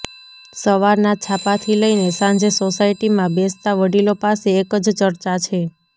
સવારના છાપાથી લઈને સાંજે સોસાયટીમાં બેસતા વડીલો પાસે એક જ ચર્ચા છે